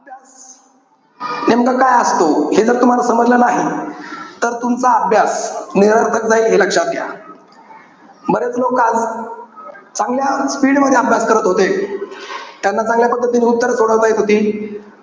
नेमकं काय असतो, हे जर तुम्हाला समजलं नाही, तर तुमचा अभ्यास निरर्थक जाईल. हे लक्षात घ्या. बरेच लोक, चांगल्या speed मध्ये अभ्यास करत होते. त्यांना चांगल्या पद्धतीने उत्तर हि सोडवता येत होती.